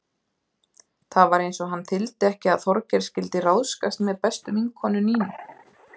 Það var eins og hann þyldi ekki að Þorgeir skyldi ráðskast með bestu vinkonu Nínu.